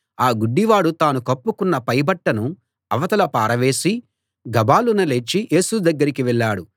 ఆ గుడ్డివాడు తాను కప్పుకొన్న పైబట్టను అవతల పారవేసి గభాలున లేచి యేసు దగ్గరికి వెళ్ళాడు